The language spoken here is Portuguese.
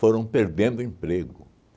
foram perdendo emprego.